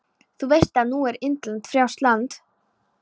Þú veist að nú er Indland frjálst land.